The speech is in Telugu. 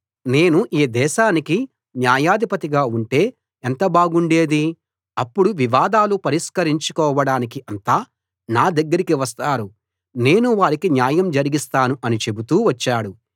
నేను ఈ దేశానికి న్యాయాధిపతిగా ఉంటే ఎంత బాగుండేది అప్పుడు వివాదాలు పరిష్కరించుకోవడానికి అంతా నా దగ్గరికి వస్తారు నేను వారికి న్యాయం జరిగిస్తాను అని చెబుతూ వచ్చాడు